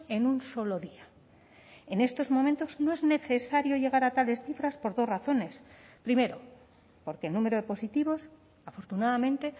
en un solo día en estos momentos no es necesario llegar a tales cifras por dos razones primero porque el número de positivos afortunadamente